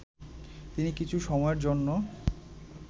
তিনি কিছু সময়ের জন্য